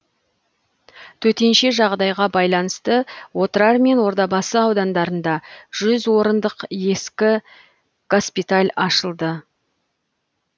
төтенше жағдайға байланысты отырар мен ордабасы аудандарында жүз орындық ескі госпиталь ашылды